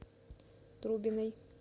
трубиной